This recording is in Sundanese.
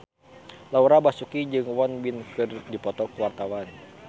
Laura Basuki jeung Won Bin keur dipoto ku wartawan